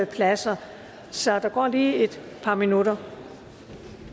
pladser så der går lige et par minutter